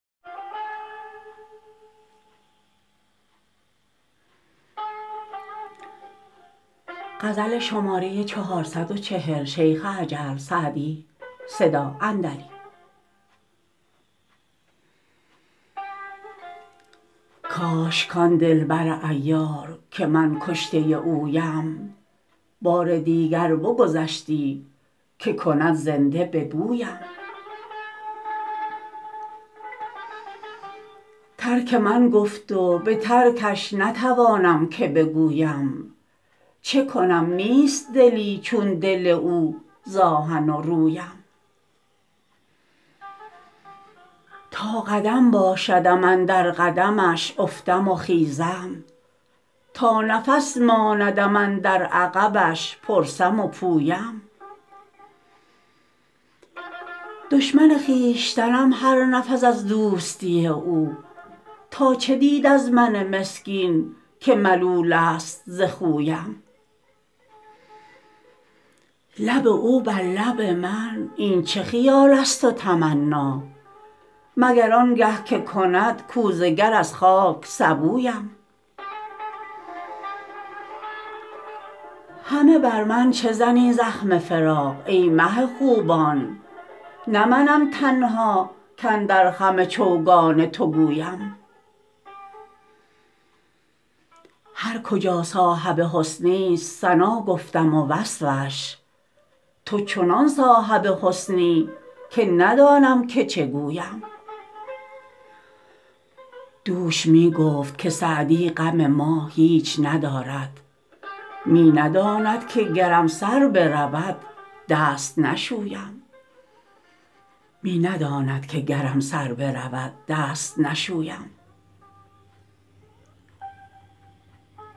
کاش کان دل بر عیار که من کشته اویم بار دیگر بگذشتی که کند زنده به بویم ترک من گفت و به ترکش نتوانم که بگویم چه کنم نیست دلی چون دل او ز آهن و رویم تا قدم باشدم اندر قدمش افتم و خیزم تا نفس ماندم اندر عقبش پرسم و پویم دشمن خویشتنم هر نفس از دوستی او تا چه دید از من مسکین که ملول است ز خویم لب او بر لب من این چه خیال است و تمنا مگر آن گه که کند کوزه گر از خاک سبویم همه بر من چه زنی زخم فراق ای مه خوبان نه منم تنها کاندر خم چوگان تو گویم هر کجا صاحب حسنی ست ثنا گفتم و وصفش تو چنان صاحب حسنی که ندانم که چه گویم دوش می گفت که سعدی غم ما هیچ ندارد می نداند که گرم سر برود دست نشویم